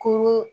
Ko